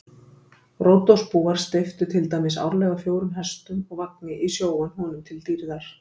Ródosbúar steyptu til dæmis árlega fjórum hestum og vagni í sjóinn honum til dýrðar.